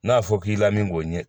N'a fɔra k'i lamin k'o ɲɛ